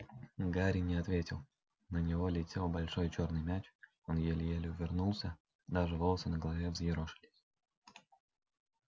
гарри не ответил на него летел большой чёрный мяч он еле-еле увернулся даже волосы на голове взъерошились